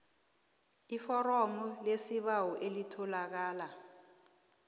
iforomo lesibawo elitholakala